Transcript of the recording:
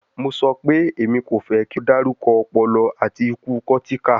Mo sọ pe, Emi ko fẹ ki o darukọ ọpọlọ ati iku cortical